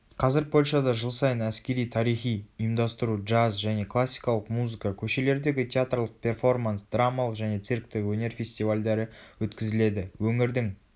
қазір польшада жыл сайын әскери-тарихи ұйымдастыру джаз және классикалық музыка көшелердегі театрлық перформанс драмалық және цирктік өнер фестивальдері өткізіледі.өңірдің